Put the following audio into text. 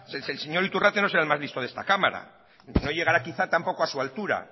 el señor iturrate no será el más listo de esta cámara no llegará quizá tampoco a su altura